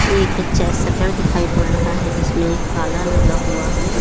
एक अच्छा शटर दिखाई पड़ रहा है जिसमें एक ताला लगा हुआ है।